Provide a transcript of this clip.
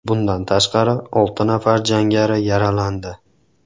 Bundan tashqari, olti nafar jangari yaralandi.